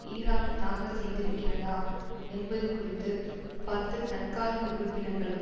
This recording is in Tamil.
ஈராக் தாக்கல் செய்திருக்கிறதா என்பது குறித்து பத்து தற்காலிக உறுப்பினர்களும்